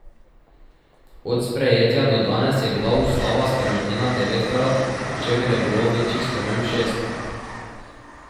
Od sprejetja do danes je bila ustava spremenjena devetkrat, pri čemer je bilo večjih sprememb šest.